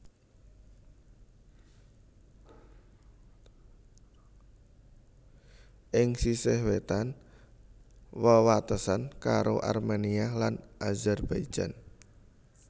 Ing sisih wétan wewatesan karo Armenia lan Azerbaijan